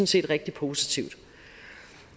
set rigtig positivt